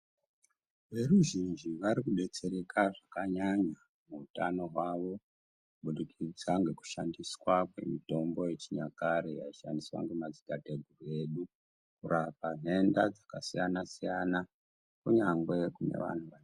Veruzhinji vari kubetsereka zvakanyanya utano wavo kubudikidza nekushandiswa kwemitombo wechinyakare wayi shandiswa nemadzitateguru edu kurapa nhenda dzakasiyana siyana kunyange kune vanhu.